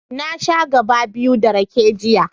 Na sha gaɓa biyu ta rake, jiya.